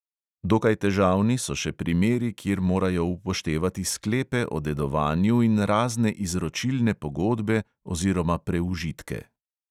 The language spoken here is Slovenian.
Dokaj težavni so še primeri, kjer morajo upoštevati sklepe o dedovanju in razne izročilne pogodbe oziroma preužitke.